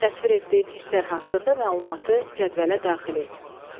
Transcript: Təsvir etdiyin hisslər haqqında məlumatı cədvələ daxil et.